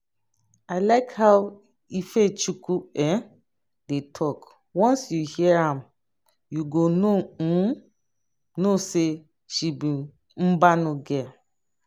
i like how ifechukwu um dey talk once you hear am you go um know say she be mbano girl